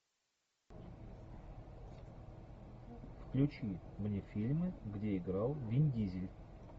включи мне фильмы где играл вин дизель